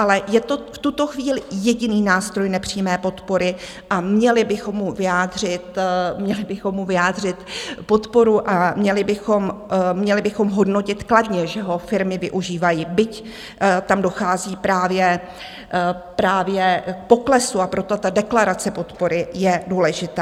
Ale je to v tuto chvíli jediný nástroj nepřímé podpory a měli bychom mu vyjádřit podporu a měli bychom hodnotit kladně, že ho firmy využívají, byť tam dochází právě k poklesu, a proto ta deklarace podpory je důležitá.